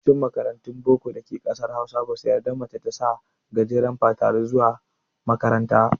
Yawancin makarantun boko da ke ƙasar Hausa, ba su yarda mace ta sa gajeren fatari ba zuwa makaranta.